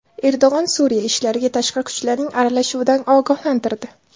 Erdo‘g‘on Suriya ishlariga tashqi kuchlarning aralashuvidan ogohlantirdi.